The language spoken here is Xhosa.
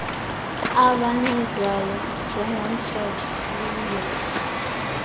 abancedwayo njengomthetho luya